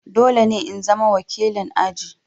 Dole ne in zama wakilin aji!